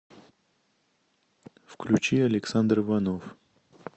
включи александр иванов